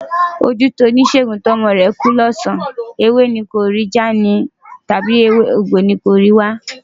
Ojú ti oníṣègùn tí ọmọ rẹ̀ kú lọ́sàn-án, ewé ni yóò ní òun kò rí já ni, tàbí egbò ni yóò ní òun kò rí wá?